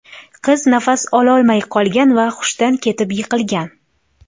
Qiz nafas ololmay qolgan va hushdan ketib yiqilgan.